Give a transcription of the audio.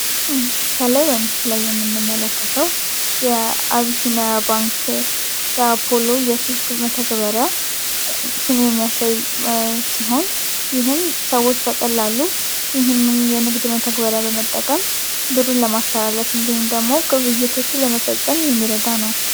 ከላይ በምስሉ ላይ የምንመለከተው የአቢሲኒያ ባንክ የአፖሎ መተግበሪያ ስም የሚያሳይ ሲሆን ይህም ሰዎች በቀላሉ ይህም መተግበሪያ በመጠቀም ብርን ለማስተላለፍ ወይም ደግሞ ግብይቶችን ለመፈፀም የሚረዳ ነው።